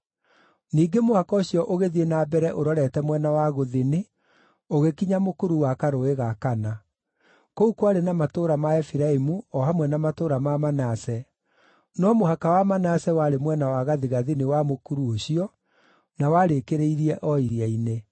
Ningĩ mũhaka ũcio ũgĩthiĩ na mbere ũrorete mwena wa gũthini ũgĩkinya mũkuru wa karũũĩ ga Kana. Kũu kwarĩ na matũũra ma Efiraimu o hamwe na matũũra ma Manase, no mũhaka wa Manase warĩ mwena wa gathigathini wa mũkuru ũcio, na warĩkĩrĩirie o iria-inĩ.